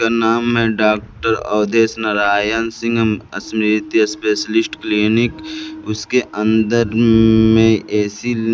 उसका नाम है doctor Avdhesh Narayan Singh Smriti specialist clinic उसके अंदर में ए_सी --